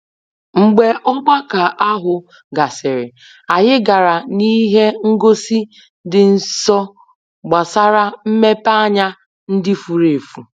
Mgbe ogbako ahụ gasịrị, anyị gara n'ihe ngosi dị nso gbasara mmepeanya ndị furu efu.